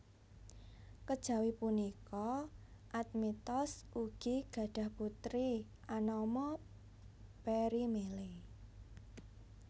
Kejawi punika Admetos ugi gadhah putri anama Perimele